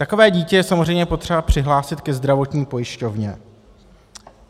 Takové dítě je samozřejmě potřeba přihlásit ke zdravotní pojišťovně.